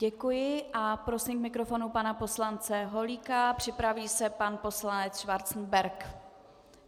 Děkuji a prosím k mikrofonu pana poslance Holíka, připraví se pan poslanec Schwarzenberg.